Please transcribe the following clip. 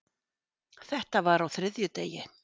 Þetta var á þriðjudegi.